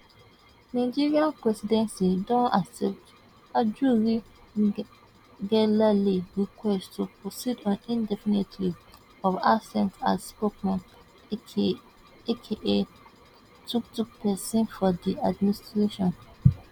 nigerian presidency don accept ajuri nge ngelale request to proceed on indefinite leave of absence as spokesman aka aka took took pesin for di administration